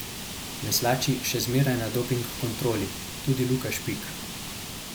Veslači še zmeraj na doping kontroli, tudi Luka Špik.